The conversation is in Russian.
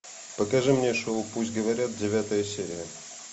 покажи мне шоу пусть говорят девятая серия